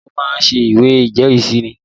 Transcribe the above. Ǹjẹ́ o máa ṣé ìwé ìjẹ́rìísí?